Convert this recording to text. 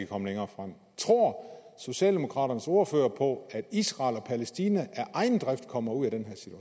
komme længere tror socialdemokraternes ordfører på at israel og palæstina af egen drift kommer ud